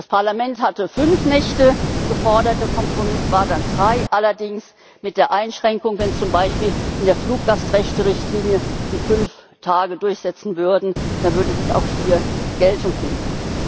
Das Parlament hatte fünf Nächte gefordert, der Kompromiss war dann drei, allerdings mit der Einschränkung, wenn zum Beispiel in der Fluggastrechterichtlinie fünf Tage durchgesetzt würden, dann würde das auch hier Geltung finden.